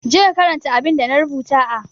Je ka karanta abinda na rubuta a